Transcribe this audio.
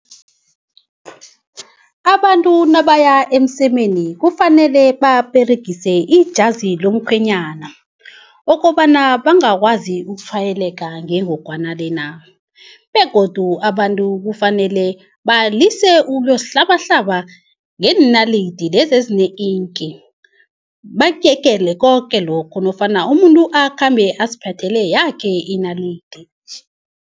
Abantu nabaya emsemeni kufanele baberegise ijazi lomkhwenyana ukobana bangakwazi ukutshwayeleka ngengogwana lena begodu abantu kufanele balise ukuzihlabahlaba ngeenalidi lezi ezine-ink, bakuyekele koke lokho nofana umuntu akhambe aziphathele yakhe inalidi.